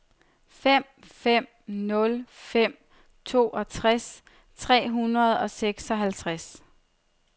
fem fem nul fem toogtres tre hundrede og seksoghalvtreds